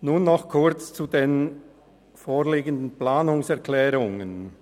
Nur noch kurz zu den vorliegenden Planungserklärungen.